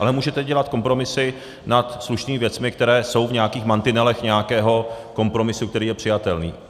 Ale můžete dělat kompromisy nad slušnými věcmi, které jsou v nějakých mantinelech nějakého kompromisu, který je přijatelný.